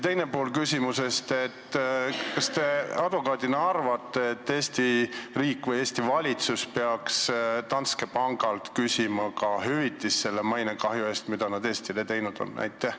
Teine pool küsimusest: kas te advokaadina arvate, et Eesti riik või Eesti valitsus peaks Danske pangalt küsima hüvitist selle mainekahju eest, mida nad Eestile tekitanud on?